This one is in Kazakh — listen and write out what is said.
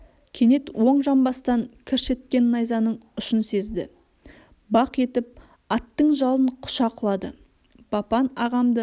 кенет оң жамбастан кірш еткен найзаның ұшын сезді бақ етіп аттың жалын құша құлады бапан ағамды